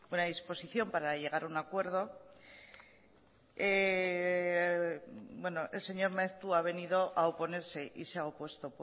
buena disposición para llegar a un acuerdo bueno el señor maeztu ha venido a oponerse y se ha opuesto